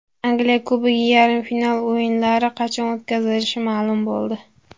Angliya Kubogi yarim final o‘yinlari qachon o‘tkazilishi ma’lum bo‘ldi.